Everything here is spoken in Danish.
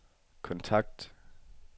kontakt